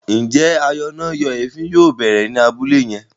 Njé ayọnáyèéfín yóò bẹrẹ ní Abúlé yén?